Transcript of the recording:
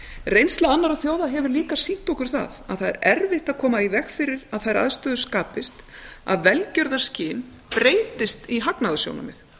reynsla annarra þjóða hefur líka sýnt okkur það að það er erfitt að koma í veg fyrir að þær aðstæður skapist að velgjörðarskyn breytist í hagnaðarsjónarmið